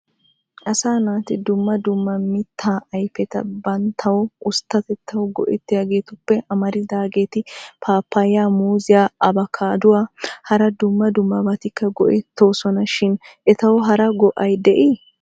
Asaa naati dumma dumma mittaa ayipeta banttawu usttatetawu go'ettiyoogeetuppe amararidaageeti paappaya, muuziya, apakaadduwanne hara dumma dummabataka go'ettoosona shin etayyo hara go'ay de'ii?